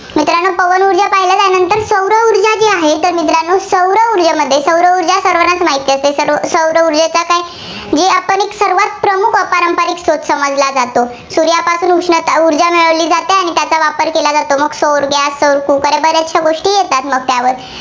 सौर ऊर्जा सर्वांनाच माहित असेल. सौर ऊर्जेचा? जी आपण सर्वांत प्रमुख अपारंपरिक स्रोत समजला जातो. सूर्यापासून उष्णता व ऊर्जा मिळवली जाते. आणि त्याचा वापर केला जातो. सौर , सौर coocker बऱ्याचश्या गोष्टी मग येतात त्यावर.